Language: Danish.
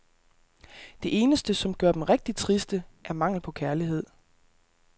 Det eneste, som gør dem rigtigt triste, er mangel på kærlighed.